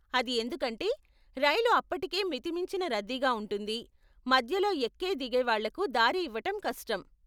అది ఎందుకంటే, రైలు అప్పటికే మితిమించిన రద్దీగా ఉంటుంది, మధ్యలో ఎక్కే, దిగేవాళ్ళకు దారి ఇవ్వటం కష్టం.